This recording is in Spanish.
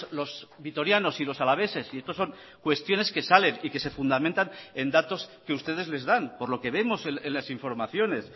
los vitorianos y los alaveses y estos son cuestiones que salen y que se fundamentan en datos que ustedes les dan por lo que vemos en las informaciones